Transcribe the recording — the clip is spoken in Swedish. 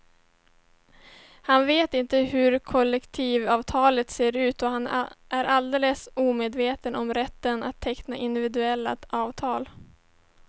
Han vet inte hur ett kollektivavtal ser ut och han är alldeles omedveten om rätten att teckna individuella avtal.